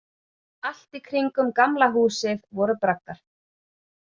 Allt í kringum Gamla húsið voru braggar.